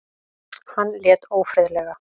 Hann lét ófriðlega.